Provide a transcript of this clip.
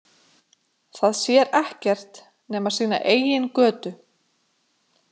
Það sér ekkert nema sína eigin götu.